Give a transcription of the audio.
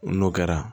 N'o kɛra